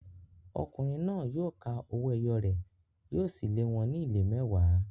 Ọkùnrin náà yóò ka owó ẹyọ rẹ̀, yóò sì lé wọn ní ìlé mẹ́wàá.